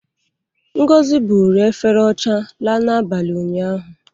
Ngozi buuru efere ọcha laa n'abalị ụnyaahụ.